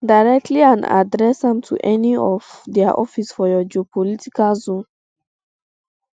directly and address am to any of um dia office for your geopolitical zone